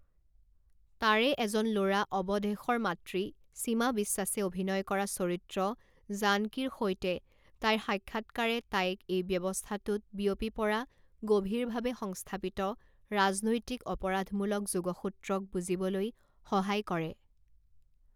তাৰে এজন ল'ৰা অৱধেশৰ মাতৃ সীমা বিশ্বাসে অভিনয় কৰা চৰিত্ৰ জানকীৰ সৈতে তাইৰ সাক্ষাৎকাৰে তাইক এই ব্যৱস্থাটোত বিয়পি পৰা গভীৰভাৱে সংস্থাপিত ৰাজনৈতিক-অপৰাধমূলক যোগসূত্ৰক বুজিবলৈ সহায় কৰে।